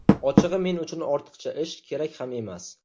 Ochig‘i, men uchun ortiqcha ish, kerak ham emas.